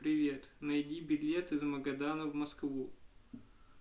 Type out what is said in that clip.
привет найди билет из магадана в москву